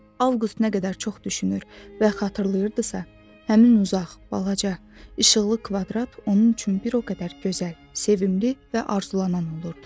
Avqust nə qədər çox düşünür və xatırlayırdısa, həmin uzaq, balaca, işıqlı kvadrat onun üçün bir o qədər gözəl, sevimli və arzulanan olurdu.